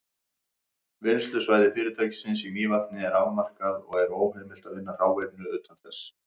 Vinnslusvæði fyrirtækisins í Mývatni er afmarkað, og er óheimilt að vinna hráefni utan þess.